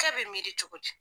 e bɛ miiri cogo di.